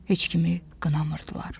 Heç kimi qınamırdılar.